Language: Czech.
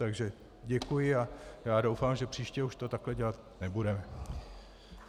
Takže děkuji a já doufám, že příště už to takto dělat nebudeme.